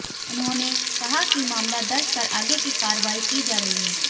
उन्होंने कहा कि मामला दर्ज कर आगे की कार्रवाई की जा रही है